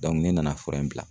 ne nana fura in bila.